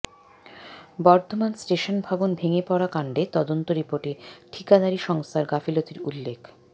Bardhaman station ভবন ভেঙে পড়া কাণ্ডে তদন্ত রিপোর্টে ঠিকাদারি সংস্থার গাফিলতির উল্লেখ